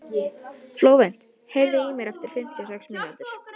Flóvent, heyrðu í mér eftir fimmtíu og sex mínútur.